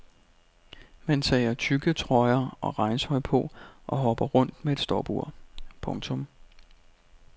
Man tager tykke trøjer og regntøj på og hopper rundt med et stopur. punktum